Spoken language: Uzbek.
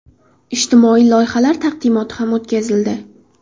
Ijtimoiy loyihalar taqdimoti ham o‘tkazildi.